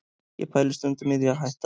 Ég pæli stundum í því að hætta